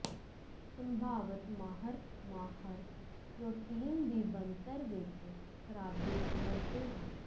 ਸੰਭਾਵਤ ਮਾਹਰ ਮਾਹਰ ਪ੍ਰੋਟੀਨ ਦੀ ਬਣਤਰ ਵਿੱਚ ਖਰਾਬੀ ਸਮਝਦੇ ਹਨ